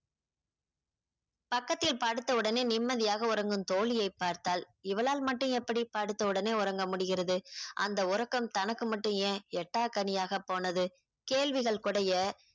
பக்கத்தில் படுத்தவுடனே நிம்மதியாக உறங்கும் தோழியை பார்த்தாள் இவளால் மட்டும் எப்படி படுத்தவுடனே உறங்க முடிகிறது அந்த உறக்கம் தனக்கு மட்டும் ஏன் எட்டாக்கனியாக போனது கேள்விகள் குடைய